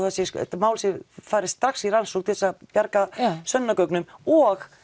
þetta mál fari strax í rannsókn til þess að bjarga sönnunargögnum og